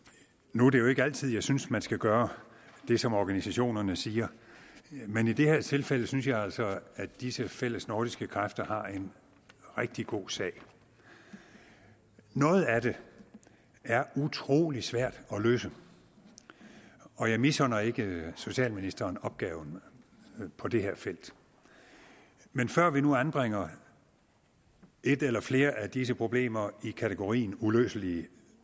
nu er det jo ikke altid at jeg synes man skal gøre det som organisationerne siger men i det her tilfælde synes jeg altså at disse fællesnordiske kræfter har en rigtig god sag noget af det er utrolig svært at løse og jeg misunder ikke socialministeren opgaven på det her felt men før vi nu anbringer et eller flere af disse problemer i kategorien uløselige